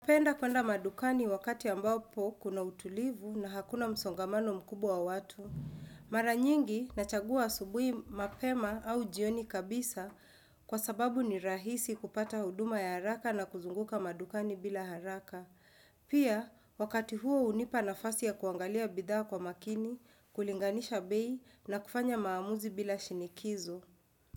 Napenda kuenda madukani wakati ambapo kuna utulivu na hakuna msongamano mkubwa wa watu. Mara nyingi nachagua asubui mapema au jioni kabisa kwa sababu ni rahisi kupata huduma ya haraka na kuzunguka madukani bila haraka. Pia, wakati huo hunipa nafasi ya kuangalia bidhaa kwa makini, kulinganisha bei na kufanya maamuzi bila shinikizo.